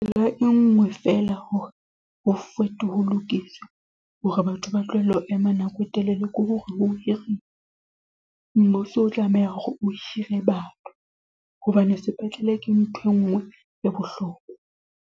e nngwe feela hore ho ho lokiswe hore batho ba tlohelle ho ema nako e telele ke hore ho hirwe, mmuso o tlameha hore o hire batho hobane sepetlele ke ntho e nngwe e bohlokwa.